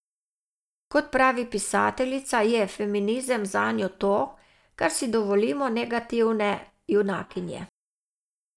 Kot pravi pisateljica, je feminizem zanjo to, da si dovolimo negativne junakinje.